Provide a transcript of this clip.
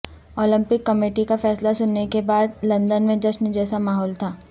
Olympic committee کا فیصلہ سننے کے بعد لندن میں جشن جیسا ماحول تھا